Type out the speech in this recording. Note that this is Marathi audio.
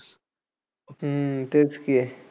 हम्म तेच की